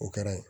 O kɛra